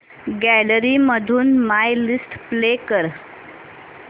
gallery मधून my list play कर